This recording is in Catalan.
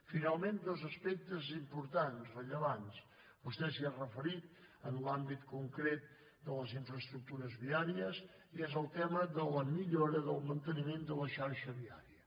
finalment dos aspectes importants rellevants vostè s’hi ha referit en l’àmbit concret de les infraestructures viàries i és el tema de la millora del manteniment de la xarxa viària